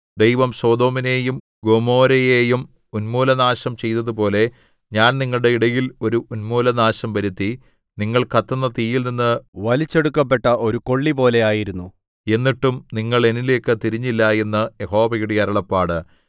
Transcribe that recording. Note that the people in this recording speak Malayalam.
ദൈവം സൊദോമിനെയും ഗൊമോരയെയും ഉന്മൂലനാശം ചെയ്തതുപോലെ ഞാൻ നിങ്ങളുടെ ഇടയിൽ ഒരു ഉന്മൂലനാശം വരുത്തി നിങ്ങൾ കത്തുന്ന തീയിൽനിന്ന് വലിച്ചെടുക്കപ്പെട്ട ഒരു കൊള്ളിപോലെ ആയിരുന്നു എന്നിട്ടും നിങ്ങൾ എന്നിലേയ്ക്ക് തിരിഞ്ഞില്ല എന്ന് യഹോവയുടെ അരുളപ്പാട്